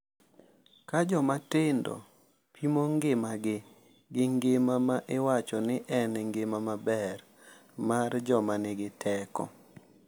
Ka joma tindo pimo ngimagi gi ngima ma iwacho ni en ngima maber mar joma nigi teko .